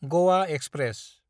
Goa express